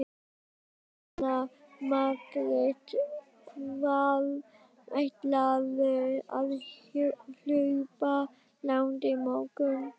Jóhanna Margrét: Hvað ætlarðu að hlaupa langt á morgun?